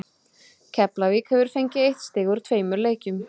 Keflavík hefur fengið eitt stig úr tveimur leikjum.